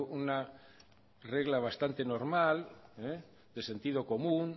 una regla bastante normal de sentido común